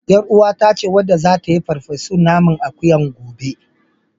YarUwata ce wadda zata yi farfesun naman akuyan gobe.